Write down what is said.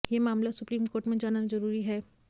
यह मामला supreme court में जाना जरूरी है